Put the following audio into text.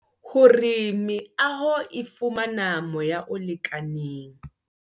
Hore meaho e fumana moya o lekaneng.